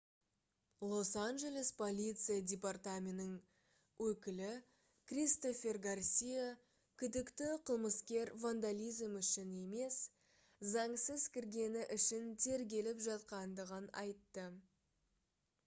лос-анджелес полиция департаментінің өкілі кристофер гарсия күдікті қылмыскер вандализм үшін емес заңсыз кіргені үшін тергеліп жатқандығын айтты